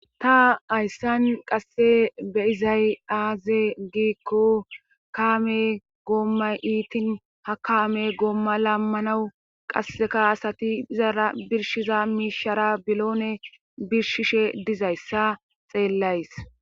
ta hayssan qasse beizay aaze giikko kaame goommay iitin ha kaame goomma laammanawu qasse kaasati izara birshiza miishara biloone birshishe dizayssa xeellays